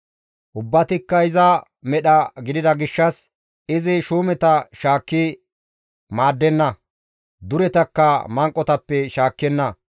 Ubbatikka iza medhetata gidida gishshas izi shuumeta shaakki maaddenna; duretakka manqotappe shaakkenna.